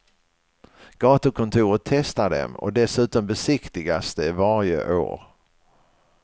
Gatukontoret testar dem och dessutom besiktigas de varje år.